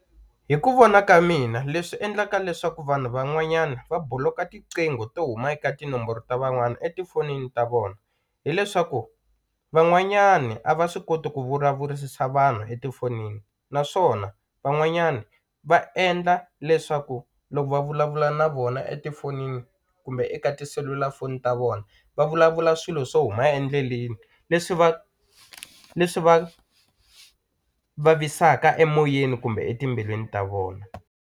Hi ku vona ka mina leswi endlaka leswaku vanhu van'wanyana va buloka tiqingho to huma eka tinomboro ta van'wana etifonini ta vona hileswaku van'wanyani a va swi koti ku vulavurisisa vanhu etifonini naswona van'wanyana va endla leswaku loko va vulavula na vona etifonini kumbe eka tiselulafoni ta vona va vulavula swilo swo huma endleleni leswi va leswi va vavisaka emoyeni kumbe etimbilwini ta vona.